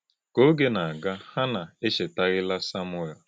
Ka oge na-aga, Hannạ echetaghịla Samuel.